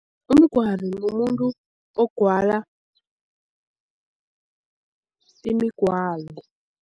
Umgwali mumuntu ogwala imigwalo.